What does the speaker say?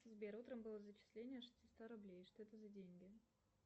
сбер утром было зачисление шестиста рублей что это за деньги